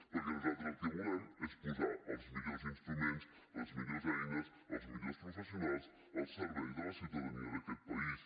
perquè nosaltres el que volem és posar els millors instruments les millors eines els millors professionals al servei de la ciutadania d’aquest país